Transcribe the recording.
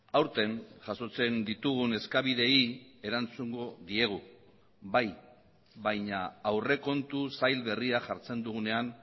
aurten jasotzen ditugun eskabideei erantzungo diegu bai baina aurrekontu zail berria jartzen dugunean